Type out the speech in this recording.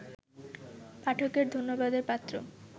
পাঠকের ধন্যবাদের পাত্র